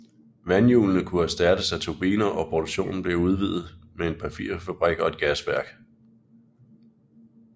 Vandhjulene kunne erstattes af turbiner og produktionen blev udvidet med en papirfabrik og et gasværk